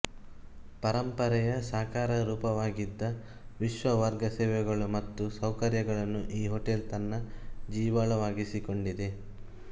ಪರಂಪರೆಯ ಸಾಕಾರರೂಪವಾಗಿದ್ದ ವಿಶ್ವದ ವರ್ಗ ಸೇವೆಗಳು ಮತ್ತು ಸೌಕರ್ಯಗಳನ್ನು ಈ ಹೋಟೆಲ್ ತನ್ನ ಜೀವಾಳವಾಗಿಸಿಕೊಂಡಿದೆ